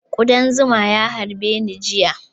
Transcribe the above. Kuɗan zuma ya harbe ni jiya